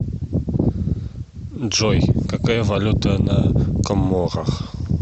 джой какая валюта на коморах